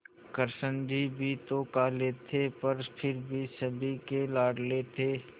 कृष्ण जी भी तो काले थे पर फिर भी सभी के लाडले थे